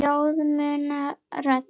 Ljóð muna rödd.